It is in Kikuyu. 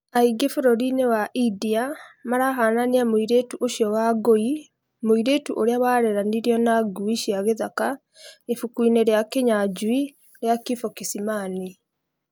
Aingĩ bũrũrinĩ wa India marahananĩa mũirĩtũ ũcio na Wangui , mũirĩtũ ũrĩa warereranĩirio na ngui cia gĩthaka ibuku-inĩ rĩa Kinyanjui rĩa kifo kisimani